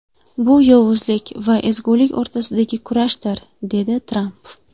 Bu yovuzlik va ezgulik o‘rtasidagi kurashdir”, dedi Tramp.